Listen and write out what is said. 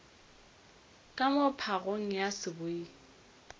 ka moo phagong ya seboi